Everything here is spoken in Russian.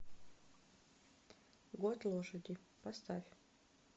год лошади поставь